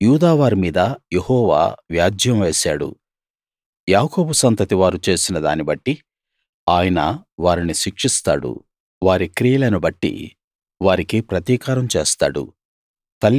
యూదావారి మీద యెహోవా వ్యాజ్యం వేశాడు యాకోబు సంతతి వారు చేసిన దాన్ని బట్టి ఆయన వారిని శిక్షిస్తాడు వారి క్రియలను బట్టి వారికి ప్రతీకారం చేస్తాడు